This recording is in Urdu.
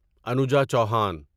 انوجا چوہان